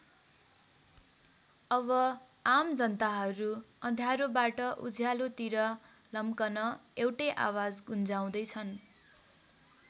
अब आम जनताहरू अँध्यारोबाट उज्यालोतिर लम्कन एउटै आवाज गुन्जाउँदै छन्।